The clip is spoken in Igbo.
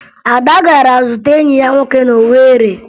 Ada gara zute enyi ya nwoke na Owere